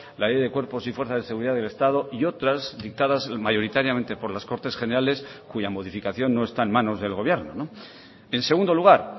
la ley de cuerpos y fuerzas de seguridad del estado y otras dictadas mayoritariamente por las cortes generales cuya modificación no está en manos del gobierno en segundo lugar